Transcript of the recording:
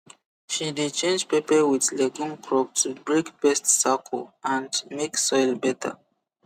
she dey change pepper with legume crop to break pest circle and make soil better